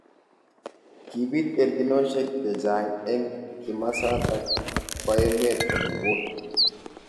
Kibit terjinoshek chechang eng kimosatak bo emet komukul.